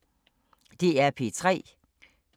DR P3